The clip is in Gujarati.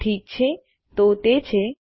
ઠીક છે તો તે છે